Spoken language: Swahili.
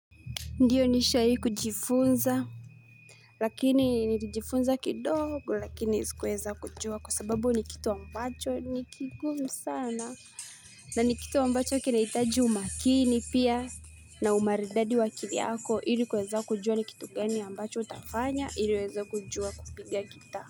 Ndiyo nishahai kujifunza. Lakini nilijifunza kidogo lakini si kueza kujua kwa sababu ni kitu ambacho ni kigumi sana. Na ni kitu ambacho kinahitaji umakini pia na umaridadi wa kivyako ili kueza kujua ni kitu gani ambacho utafanya ili uweze kujua kupiga gita.